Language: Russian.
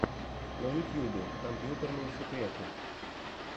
на ютьюбе компьютерные секреты